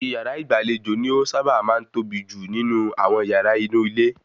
Ìyàrá ìgbàlejò ni ó sábà máa ń tóbi jù nínú àwon yàra inú ilé